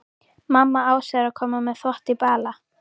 Mamma Ásu er að koma með þvott í bala.